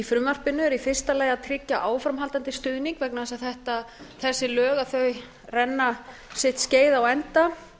eru í fyrsta lagi að tryggja áframhaldandi stuðning vegna þess að þessi lög renna sitt skeið á enda